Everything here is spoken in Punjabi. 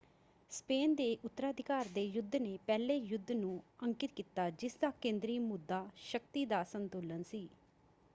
ਸਪੇਨ ਦੇ ਉੱਤਰਾਧਿਕਾਰ ਦੇ ਯੁੱਧ ਨੇ ਪਹਿਲੇ ਯੁੱਧ ਨੂੰ ਅੰਕਿਤ ਕੀਤਾ ਜਿਸਦਾ ਕੇਂਦਰੀ ਮੁੱਦਾ ਸ਼ਕਤੀ ਦਾ ਸੰਤੁਲਨ ਸੀ।